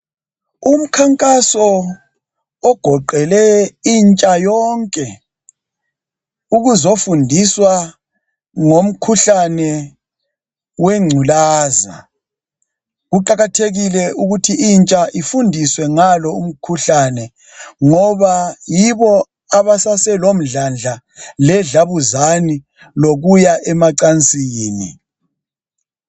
Umkhankaso ogoqele intsha yonke ukuzofundiswa ngomkhuhlane wengculaza. Kuqakathekile ukuthi intsha ifundiswe ngalo umkhuhlane ngoba yibo abasase lomdladla le dlabuzane lokuya emacansini.